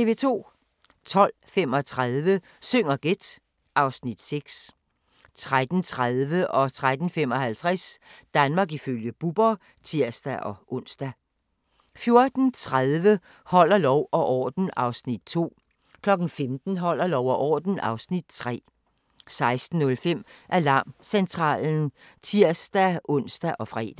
12:35: Syng og gæt (Afs. 6) 13:30: Danmark ifølge Bubber (tir-ons) 13:55: Danmark ifølge Bubber (tir-ons) 14:30: Holder lov og orden (Afs. 2) 15:00: Holder lov og orden (Afs. 3) 16:05: Alarmcentralen (tir-ons og fre)